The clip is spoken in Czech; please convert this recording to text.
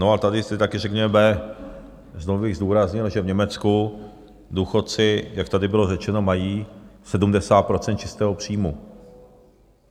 No a tady si taky řekněme, znovu bych zdůraznil, že v Německu důchodci, jak tady bylo řečeno, mají 70 % čistého příjmu.